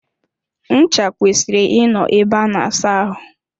Ncha kwesịrị I nọ ebe a na asa ahụ.